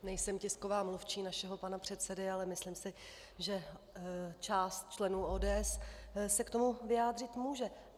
Nejsem tisková mluvčí našeho pana předsedy, ale myslím si, že část členů ODS se k tomu vyjádřit může.